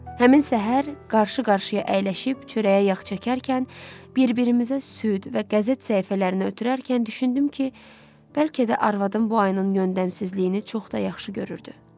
Həmin səhər qarşı-qarşıya əyləşib çörəyə yağ çəkərkən, bir-birimizə süd və qəzet səhifələrini ötürərkən düşündüm ki, bəlkə də arvadım bu ayının yöndəmsizliyini çox da yaxşı görürdü.